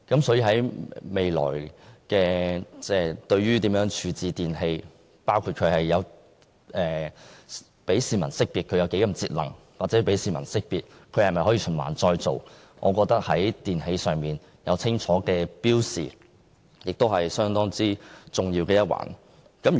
對於未來如何處置電器，包括讓市民識別電器的節能程度或電器可否循環再造，我認為在電器上有清楚標示相當重要。